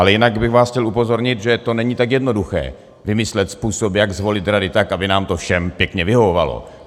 Ale jinak bych vás chtěl upozornit, že to není tak jednoduché vymyslet způsob, jak zvolit radu tak, aby nám to všem pěkně vyhovovalo.